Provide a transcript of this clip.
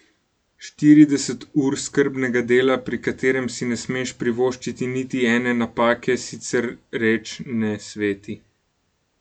Štirideset ur skrbnega dela, pri katerem si ne smeš privoščiti niti ene napake, sicer reč ne sveti.